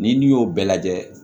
Ni n'i y'o bɛɛ lajɛ